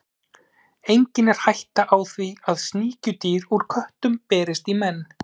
Einnig er hætta á því að sníkjudýr úr köttum berist í menn.